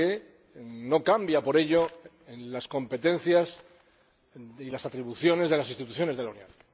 claro que no cambia por ello las competencias ni las atribuciones de las instituciones de la Unión.